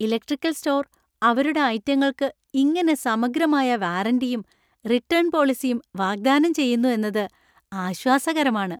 Electrical store അവരുടെ ഐറ്റങ്ങൾക്കു ഇങ്ങനെ സമഗ്രമായ വാറന്‍റിയും റിട്ടേൺ പോളിസിയും വാഗ്ദാനം ചെയ്യുന്നു എന്നത് ആശ്വാസകരമാണ്.